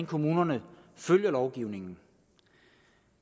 kommunerne følger lovgivningen